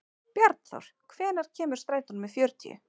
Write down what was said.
Bjarnþór, hvenær kemur strætó númer fjörutíu?